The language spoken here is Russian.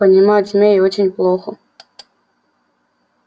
понимать змей очень плохо